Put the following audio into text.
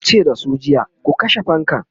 yace da su jiya"ku kashe fankan!'